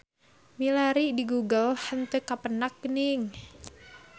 Milari di google henteu kapendak geuning.